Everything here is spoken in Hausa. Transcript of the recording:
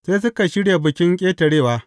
Sai suka shirya Bikin Ƙetarewa.